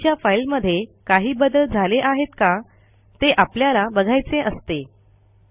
आधीच्या फाईलमध्ये काही बदल झाले आहेत का ते आपल्याला बघायचे असते